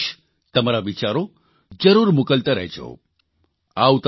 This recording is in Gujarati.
તમે તમારો સંદેશ તમારા વિચારો જરૂર મોકલતા રહેજો